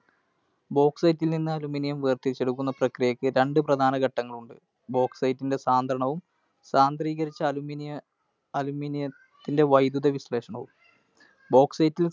Bauxite ൽ നിന്ന് Aluminium വേർതിരിച്ചു എടുക്കുന്ന പ്രക്രിയക്ക് രണ്ട് പ്രധാന ഘട്ടങ്ങളുണ്ട്. Bauxite ൻറെ സാന്ദ്രണവും, സാന്ദ്രീകരിച്ച Aluminium ത്തി aluminium ത്തിന്റെ വൈദ്യുത വിശ്ലേഷണവും. bauxite ന്റെ